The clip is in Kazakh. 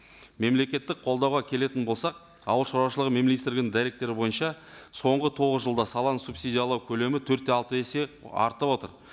мемлекеттік қолдауға келетін болсақ ауыл шаруашылығы министрлігінің дәйектері бойынша соңғы тоғыз жылда саланы субсидиялау көлемі төрт те алты есе арта отырып